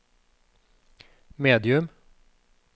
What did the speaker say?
medium